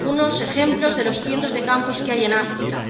solo algunos ejemplos de los cientos de campos que hay en África.